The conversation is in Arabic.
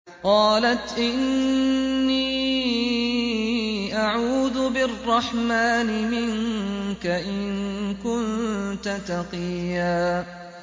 قَالَتْ إِنِّي أَعُوذُ بِالرَّحْمَٰنِ مِنكَ إِن كُنتَ تَقِيًّا